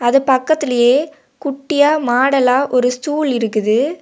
இந்த பக்கத்திலேயே குட்டியா மாடலா ஒரு ஸ்டூல் இருக்குது.